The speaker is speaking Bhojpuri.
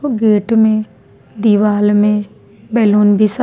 व गेट में दीवाल में बेलून भी स --